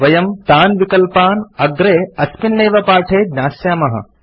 वयं तान् विकल्पान् अग्रे अस्मिन् एव पाठे ज्ञास्यामः